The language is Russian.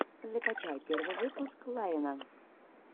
закачай первый выпуск ларина